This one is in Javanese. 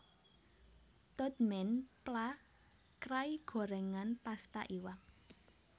Tod man pla krai gorèngan pasta iwak